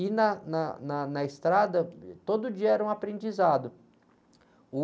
E na, na, na, na estrada, todo dia era um aprendizado. Uh...